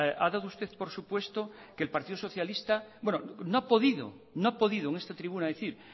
no ha podido en esta tribuna decir